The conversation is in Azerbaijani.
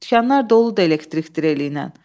Dükanlar doludur elektrik dreliylə.